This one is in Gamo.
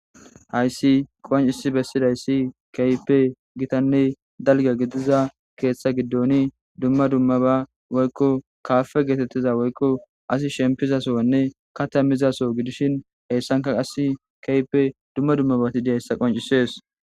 hayssi qoncisi bessidayssi kaype gitanne dalga gidiza keeththa giddoni dumma dummaba woykko kaafe geetettiza woykko asi shempizasoanne kata mizaso gidishin heyssanka qas kaype dumma dummabati diyayssa qoncisees